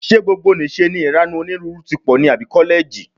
Ṣé gbogbonìṣe ni ìranù onírúurú tí pọ̀ ní àbí kọ́lẹ́ẹ̀jì?